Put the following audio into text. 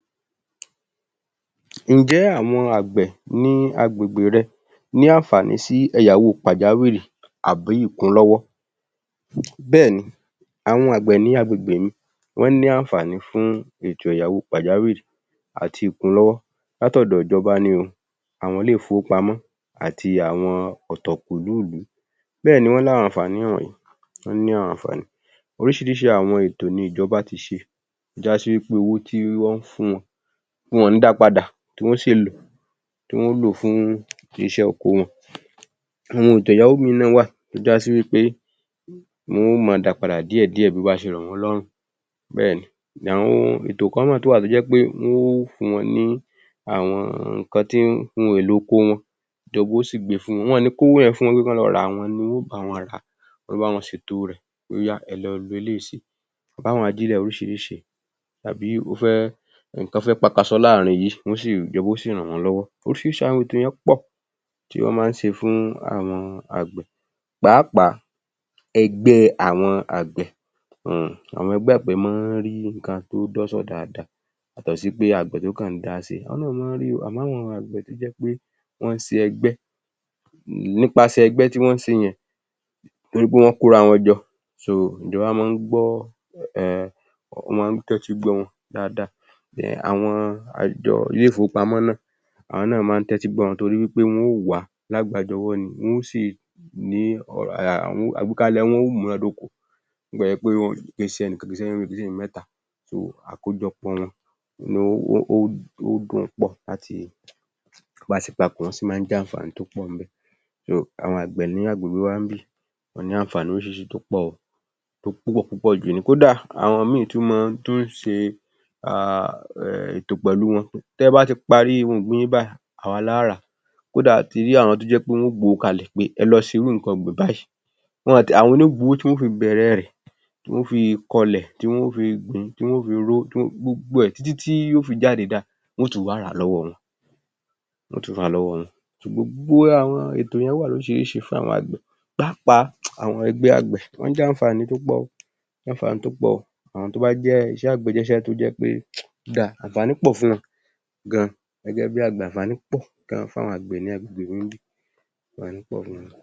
Ǹ jẹ́ àwọn àgbẹ̀ ní agbègbè rẹ ní àǹfàní sí ẹ̀yáwó pàjáwìrì àbí ìkúnlọ́wọ́? Bẹ́ẹ́ni, àwọn àgbẹ̀ ní agbègbè mi wọ́n ní àǹfàní fún ètò ẹ̀yáwó pàjáwìrì àti ìkúnlọ́wọ́ láti ọ̀dọ̀ ìjọba ni o, àwọn ilé-ìfowópamọ́ àti àwọn ọ̀tọ̀ọ̀kùlú ìlú. Bẹ́ẹ̀ni wọ́n ní àwọn àǹfàní wọ̀nyí, wọ́n ní àwọn àǹfàní, oríṣiríṣi àwọn ètò ni ìjọba ti ṣe, já sí wípé owó tí wọ́n ń fún wọn, wọn kì í da padà, tí wọ́n sì ń lò ó, tí wọ́n lò ó fún iṣẹ́ oko wọn, àwọn ètò ẹ̀yáwó mìíràn wà tó já sí wípé wọn ó máa dá padà díẹ̀díẹ̀, bó bá ṣe rọ̀ wọ́n lọ́rùn ni bẹ́ẹ̀ ni, àwọn ètò kan náà tún wà tó já sí wípé wọn ó fún wón ni àwọn nǹkan tí, ohun èlò oko wọn, tó jẹ́ pé wọn yóò sì gbé fún wọn, wọn ò ní í kówó yẹn fún wọn pé kí wọ́n lọ rà á, àwọn ni wọn yóò bá wọn rà á, wọn ó bá wọn ṣètò rẹ̀, pé ó yá ẹ lọ lo eléyìí síbí, àwọn ajílẹ̀ oríṣiríṣi, tàbí o fẹ́, nǹkan fẹ́ pakasọ láàrin yìí, wọn ó sì, ìjọba ó sì rán wọn lọ́wọ́, oríṣirísׅi àwọn ètò yẹn pọ̀ tí wọ́n máa ń ṣe fún àwọn àgbẹ̀ pàápàá ẹgbẹ́ àwọn àgbẹ̀ um àwọn ẹgbẹ́ àgbẹ̀ máa ń ri nǹkan tó dọ́ṣọ̀ dáadáa yàtọ̀ sí pé àgbẹ̀ tó kàn ń dá ṣe, àwọn náà máa ń ri o, àmọ́ àwọn àgbẹ̀ tó je pé wọ́n ṣe ẹgbẹ́, nípasẹ̀ ẹgbẹ́ tí wọ́n ṣe yẹn, nítorí wọn kóra wọn jọ, ìjọba máa ń gbọ́ um, wọ́n máa ń tẹ́tí gbọ́ wọn dáadáa, um àwọn àjọ, ilé-ìfowópamọ́ náá, àwọn náà máa ń tẹ́tí gbọ́ wọn torí wípé wọ́n o wá lágbàájọwọ́ ni, wón o sì um ní[um] àwíkalẹ̀ wọn ó múná dóko bí ó ti lẹ̀ jẹ́ pé kì í śe ẹnìkan, kì í ṣèyán méjì, kì í ṣe èyàn mẹ́ta, àkójọpọ̀ wọn um wọ́n ó pọ̀ bá ti papọ̀ sí máa ń jàǹfàní t́ pọ̀ ńbẹ̀, àwọn àgbẹ̀ ní agbègbè wa níbí wọ́n ní àǹfàní oríṣiríṣi tó pọ̀, tó pọ̀ púpọ̀ jú ni, kódà àwọn mìíràn tún máa ń tún ń ṣe um ètò pẹ̀lú wọn pé tí ẹ bá ti parí ohun ọ̀gbìn yín báyìí, à wa la ó rà á kódà a ti rí àwọn tó jẹ́ pé wọ́n yóò gbé owó kalẹ̀ pé ẹ lọ ṣe irú nǹkan ọ̀gbìn báyìí, àwọn ni yóò gbé owó tí wọn yóò fi bẹ̀rẹ̀ rẹ̀, tí wọn ó fi kọlẹ̀, tí wọn ó fí gùn, tí wọn ó fi ro, tí wọn ó, gbogbo ẹ̀ títí tí yóò fi jáde dáa, wọn ó tún wá rà á lọ́wọ́ wọn, wọn ó tún rà á lọ́wọ́ wọn, gbogbo àwọn ètò yẹn wà lóríṣiríṣi fún àwón àgbẹ̀, pàápàá àwọn ẹgbẹ́ àgbẹ̀, wọ́n ń jàǹfàní tó pọ̀ o, wọ́n ń jàǹfàní tó pọ̀ o, àwọn tó bá jẹ́ iṣẹ́ àgbẹ̀, iṣẹ́ àgbẹ̀ jẹ́ iṣẹ́ tó jẹ́ pé ó dáa, àǹfàní pọ̀ fún wọn gan-an, gẹ́gẹ́ bí àgbẹ̀ àǹfànì pọ̀ gan-an fún àwọn ní agbègbè mi níbí, àǹfàní pọ̀ fún wọn